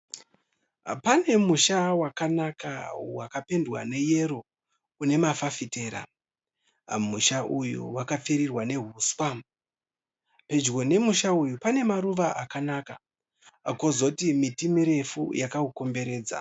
Pane musha wakanaka wakapendwa neyero une mafafitera. Musha uyu wakapfirirwa nehuswa. Pedyo nemusha uyu pane maruva akanaka kozoti miti mirefu yakaukomberedza.